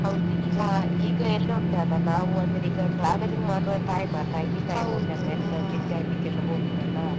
ಹೌದು ಈಗ ಈಗ ಎಲ್ಲ ಉಂಟಲ್ಲ ನಾವು ಅಂದ್ರೆ ಈಗ travelling ಮಾಡುವ time ಅಲ್ಲ ಎಲ್ಲ ತಿರುಗಾಡಲಿಕ್ಕೆ ಎಲ್ಲ ಹೋಗುದಲ್ಲ.